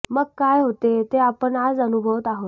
मग काय होते ते आपण आज अनुभवत आहोत